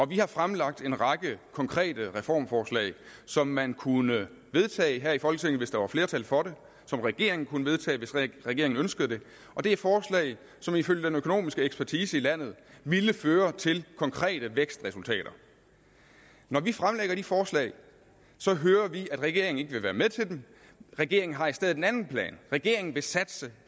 vi har fremlagt en række konkrete reformforslag som man kunne vedtage her i folketinget hvis der var flertal for det som regeringen kunne vedtage hvis regeringen ønskede det og det er forslag som ifølge den økonomiske ekspertise i landet ville føre til konkrete vækstresultater når vi fremlægger de forslag hører vi at regeringen ikke vil være med til dem regeringen har i stedet en anden plan regeringen vil satse